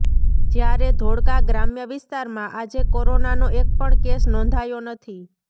જ્યારે ધોળકા ગ્રામ્ય વિસ્તારમાં આજે કોરોનાનો એક પણ કેસ નોંધાયો નથી